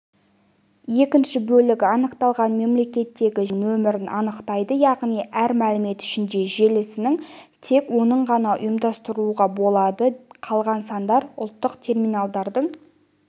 екінші бөлігі анықталған мемлекеттегі желісінің нөмірін анықтайды яғни әр мемлекет ішінде желісінің тек онын ғана ұйымдастыруға болады қалған сандар ұлттық терминалдардың